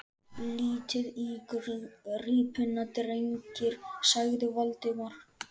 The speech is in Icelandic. Lítið á gripina, drengir! sagði Valdimar.